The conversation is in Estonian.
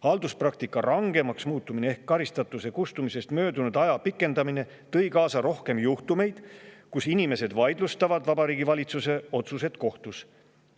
Halduspraktika rangemaks muutmine ehk karistatuse kustumisest möödumise aja pikendamine tõi kaasa rohkem juhtumeid, kus inimesed vaidlustasid Vabariigi Valitsuse otsuseid kohtus.